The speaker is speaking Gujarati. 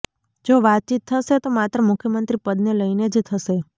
જો વાતચીત થશે તો માત્ર મુખ્યમંત્રી પદને લઈને જ થશે